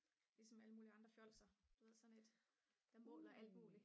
ligesom alle mulige andre fjolser du ved sådan et der måler alt muligt